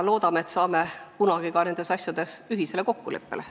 Loodame, et saame kunagi ka nendes asjades ühisele kokkuleppele.